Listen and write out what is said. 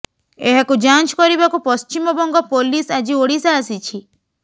ଏହାକୁ ଯାଞ୍ଚ କରିବାକୁ ପଶ୍ଚିମବଙ୍ଗ ପୋଲିସ୍ ଆଜି ଓଡ଼ିଶା ଆସିଛି